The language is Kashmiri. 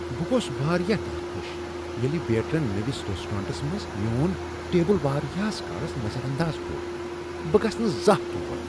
بہٕ گوس واریاہ ناخوش ییٚلہ ویٹرن نوِس ریسٹرانٹس منٛز میون ٹیبل واریاہس کالس نظر انداز کوٚر۔ بہٕ گژھہٕ نہٕ زانٛہہ تور۔